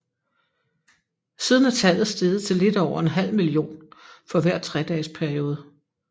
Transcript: Siden er tallet steget til lidt over en halv million for hver tredages periode